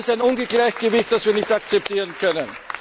Das ist ein Ungleichgewicht, das wir nicht akzeptieren können.